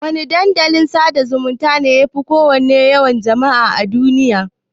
Wana Dandalin sada zumunta ne yafi yawan jama'a a duniya?